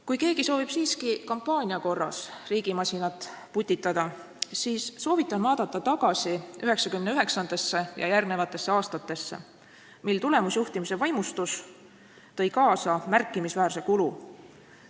Kui keegi soovib siiski kampaania korras riigimasinat putitada, siis soovitan vaadata tagasi 1999. aastale ja järgnevatele aastatele, mil tulemusjuhtimise vaimustus tõi kaasa märkimisväärse kulu.